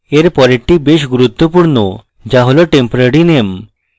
এর পরেরটি বেশ গুরুত্বপূর্ণ যা হল temporary name